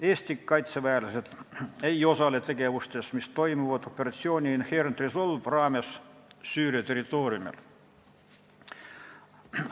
Eesti kaitseväelased ei osale operatsiooni Inherent Resolve tegevustes, mis toimuvad Süüria territooriumil.